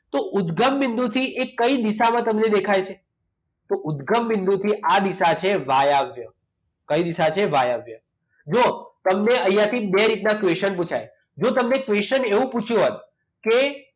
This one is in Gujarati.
તો ઉદગમ બિંદુ થી એ કઈ દિશામાં તમને દેખાય છે તો ઉદગમ બિંદુ થી આ દિશા છે વાયવ્ય કઈ દિશા છે વાયવ્ય જુઓ તમને અહીંયા થી બે રીતના question પુછાય જો તમને question એવો પૂછ્યો હોય કે